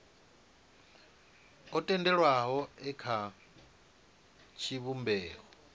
o tendelwaho e kha tshivhumbeo